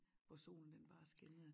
Hvor solen den bare skinnede